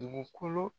Dugukolo